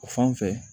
O fan fɛ